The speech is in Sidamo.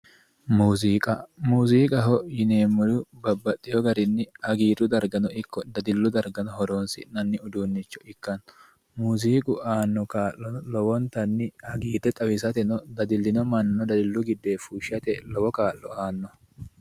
Muuziiqa muuziiqaho yineemmori babbaxxeyo garinni hagiirru dargano ikko dadillu darga horoonsi'nanni uduunnicho ikkanno muuziiqu aanno kaa'lo lowontanni hagiirre xawisateno dadillino manna dadillu giddoyi fushshate lowo kaa'lo aanno